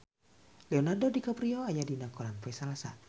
Leonardo DiCaprio aya dina koran poe Salasa